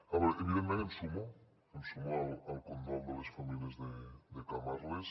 a veure evidentment em sumo al condol de les famílies de camarles